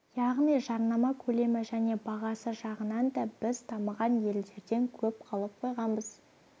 яғни жарнама көлемі және бағасы жағынан да біз дамыған елдерден көп қалып қойғанбыз